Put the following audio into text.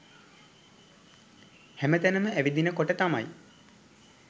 හැම තැනම ඇවිදින කොට තමයි